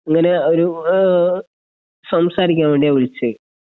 ഇങ്ങനെ ഒരു ആഹ് സംസാരിക്കാൻ വേണ്ടിയാ വിളിച്ചെ.